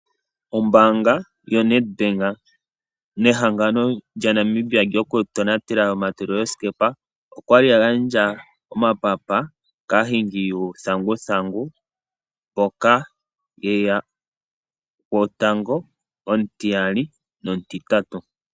Ombanga yoNEDBANK nehangano lyaNamibia lyokutonatela omatulilo sikepa otaagandja omapapa kaahingi yuuthanguthangu kuza kwaangoka eya gwotango, omutiyali nomutitatu.